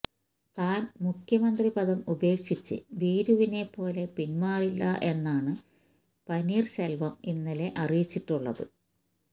താൻ മുഖ്യ മന്ത്രിപദം ഉപേക്ഷിച്ച് ഭീരുവിനെപ്പോലെ പിന്മാറില്ല എന്നാണ് പനീർശെൽവം ഇന്നലെ അറിയിച്ചിട്ടുള്ളത്